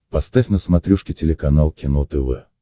поставь на смотрешке телеканал кино тв